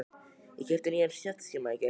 Ég keypti nýjan snjallsíma í gær.